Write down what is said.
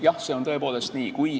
Jah, see on tõepoolest nii.